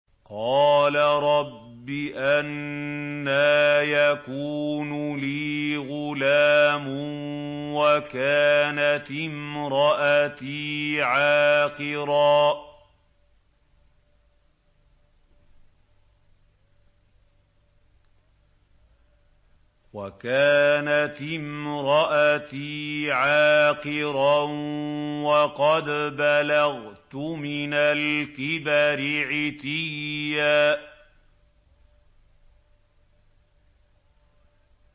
قَالَ رَبِّ أَنَّىٰ يَكُونُ لِي غُلَامٌ وَكَانَتِ امْرَأَتِي عَاقِرًا وَقَدْ بَلَغْتُ مِنَ الْكِبَرِ عِتِيًّا